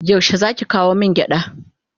Yaushe zaki kawo min gyada?